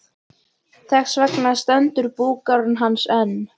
Þess vegna stendur búgarður hans enn.